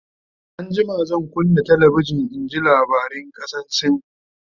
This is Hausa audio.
an jima zan kunna talabijan in ji labaran kasan sin